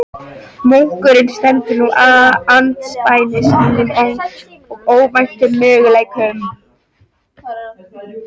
Munkurinn stendur nú andspænis nýjum og óvæntum möguleikum.